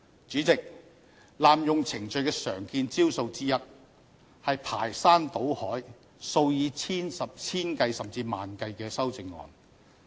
主席，濫用程序的常見招數之一，是提出排山倒海、數以千計甚至萬計的修正案。